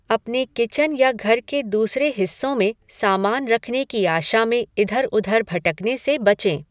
अपने किचन या घर के दूसरे हिस्सों में सामान रखने की आशा में इधर उधर भटकने से बचें।